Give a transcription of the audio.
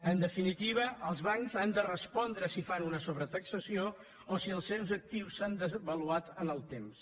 en definitiva els bancs han de respondre si fan una sobretaxació o si els seus actius s’han devaluat en el temps